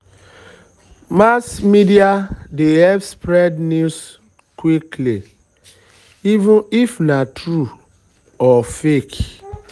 mass media media dey help spread news quick even if na true or fake.